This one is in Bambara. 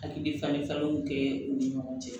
Hakili fanw kɛ u ni ɲɔgɔn cɛ